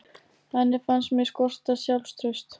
Henni fannst mig skorta sjálfstraust.